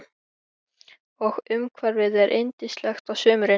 Og umhverfið er yndislegt á sumrin.